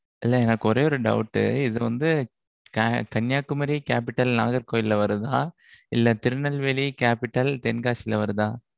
எனக்கு ஒரே ஒரு doubt உஹ்? இதுல வந்து, கன்னியாகுமரி capital நாகர்கோவில்ல வருதா இல்லை, திருநெல்வேலி capital தென்காசியில வருதா?